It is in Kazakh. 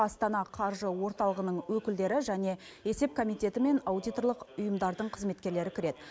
астана қаржы орталығының өкілдері және есеп комитеті мен аудиторлық ұйымдардың қызметкерлері кіреді